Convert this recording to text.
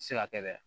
Se ka kɛ dɛ